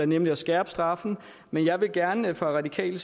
nemlig at skærpe straffen men jeg vil gerne fra radikale